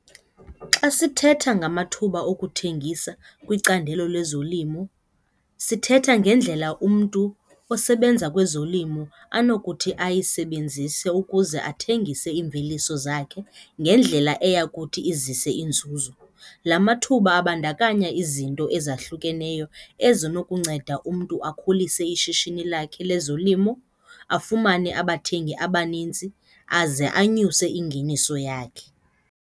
Xa sithetha ngamathuba okuthengisa kwicandelo lezolimo sithetha ngendlela umntu osebenza kwezolimo anokuthi ayisebenzise ukuze athengise iimveliso zakhe ngendlela eya kuthi izise inzuzo. La mathuba abandakanya izinto ezahlukeneyo ezinokunceda umntu akhulise ishishini lakhe lezolimo, afumane abathengi abaninzi aze anyuse ingeniso yakhe.